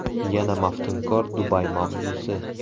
Yana maftunkor Dubay mavzusi.